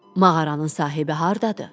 Mağaranın sahibi hardadır?